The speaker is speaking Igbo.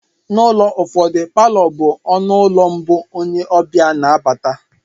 N'ụlọ ụfọdụ, Palọ bụ ọnụ ụlọ mbụ onye ọbịa na abata